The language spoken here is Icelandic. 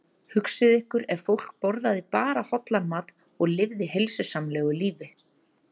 Hugsið ykkur ef fólk borðaði bara hollan mat og lifði heilsusamlegu lífi.